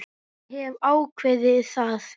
Ég hef ákveðið það.